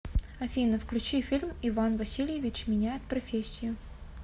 афина включи фильм иван васильевич меняет профессию